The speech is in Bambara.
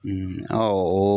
o